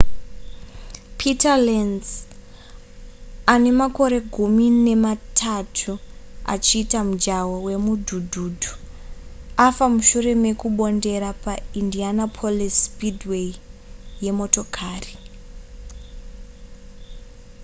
peter lenz ane makore gumi nematatu achiita mujaho hwemudhudhudhu afa mushure mekumbondera paindianapolis speedway yemotokari